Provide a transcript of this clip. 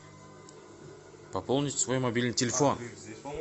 пополнить свой мобильный телефон